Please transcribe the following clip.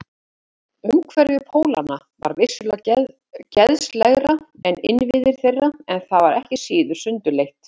Umhverfi Pólanna var vissulega geðslegra en innviðir þeirra, en það var ekki síður sundurleitt.